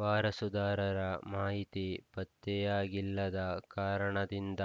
ವಾರಸುದಾರರ ಮಾಹಿತಿ ಪತ್ತೆಯಾಗಿಲ್ಲದ ಕಾರಣದಿಂದ